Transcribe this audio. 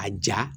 A ja